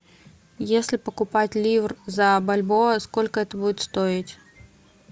если покупать ливр за бальбоа сколько это будет стоить